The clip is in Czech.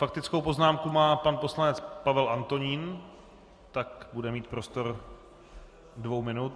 Faktickou poznámku má pan poslanec Pavel Antonín, tak bude mít prostor dvou minut.